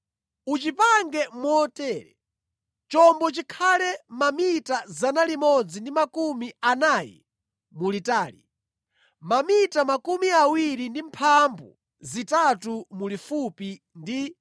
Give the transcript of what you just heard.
Uchipange motere: Chombo chikhale mamita 140 mulitali, mamita 23 mulifupi ndi mamita 13 mu msinkhu wake.